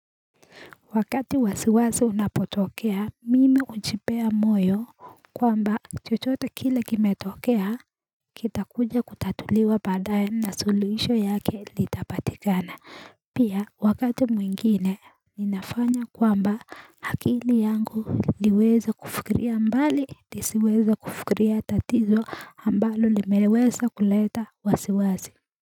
Wakati wasiwasi unapotokea mimi hujipea moyo kwamba chochote kile kimetokea kitakuja kutatuliwa baadaye na suluhisho yake litapatikana Pia wakati mwingine ninafanya kwamba akili yangu liweze kufukiria mbali lisiweze kufukiria tatizo ambalo limeweza kuleta wasiwasi.